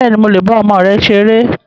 Bẹ́ẹ̀ni, mo le bá ọmọ rẹ ṣeré